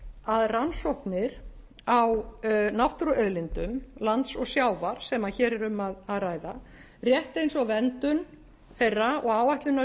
að rannsóknir á náttúruauðlindum lands og sjávar sem hér er um að ræða rétt eins og verndun þeirra og áætlanir um